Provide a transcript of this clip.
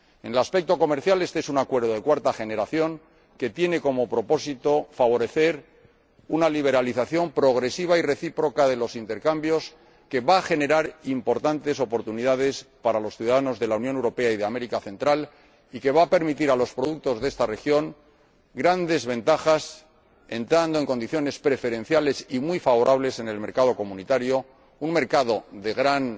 En su vertiente comercial, este es un acuerdo de cuarta generación que tiene como propósito favorecer una liberalización progresiva y recíproca de los intercambios, que va a generar importantes oportunidades para los ciudadanos de la Unión Europea y de Centroamérica, va a ofrecer a los productos de esta región grandes ventajas, pues accederán en condiciones preferenciales y muy favorables al mercado de la UE —un mercado de gran